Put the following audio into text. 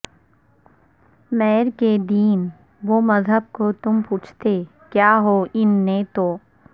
میر کے دین و مذہب کو تم پوچھتے کیا ہو ان نے تو